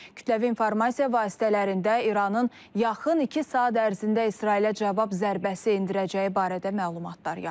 Kütləvi informasiya vasitələrində İranın yaxın iki saat ərzində İsrailə cavab zərbəsi endirəcəyi barədə məlumatlar yayılır.